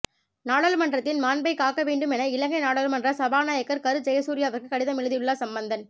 நாடாளுமன்றத்தின் மாண்பை காக்க வேண்டும் என இலங்கை நாடாளுமன்ற சபா நாயகர் கரு ஜெயசூர்யாவிற்கு கடிதம் எழுதியுள்ளார் சம்பந்தன்